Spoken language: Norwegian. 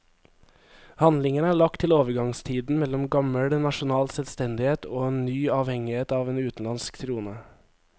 Handlingen er lagt til overgangstiden mellom gammel nasjonal selvstendighet og en ny avhengighet av en utenlandsk trone.